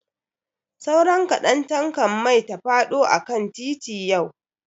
Sauran kaɗan tankan mai ta faɗo akan titi yau.